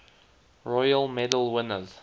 royal medal winners